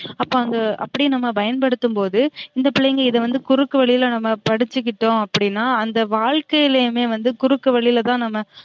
அப்ப அவுங்க அப்டி நம்ம பயன்படுத்தும் போது இந்த பிள்ளைங்க இத வந்து குறுக்கு வழில நம்ம படிச்சுகிட்டோம் அப்டினா அந்த வாழ்க்கைலயுமே வந்து குறுக்கு வழில தான் நம்ம